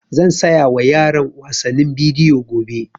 Zan saya wa yaran wasannin bidiyo gobe